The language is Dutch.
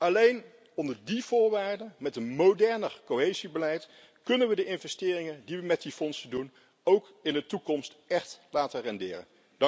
Alleen onder die voorwaarde, met een moderner cohesiebeleid, kunnen we de investeringen die we met die fondsen doen, ook in de toekomst echt laten renderen.